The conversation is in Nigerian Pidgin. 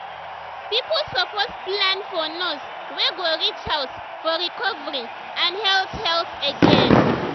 people suppose plan for nurse wey go reach house for recovery and health health gain.